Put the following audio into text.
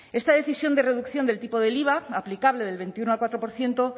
esta decisión de reducción del tipo del iva aplicable del veintiuno al cuatro por ciento